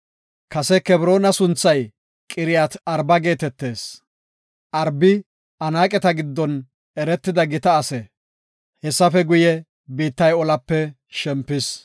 Kase Kebroona sunthay Qiriyaat-Arba geetetees. Arbi, Anaaqeta giddon eretida gita ase. Hessafe guye, biittay olape shempis.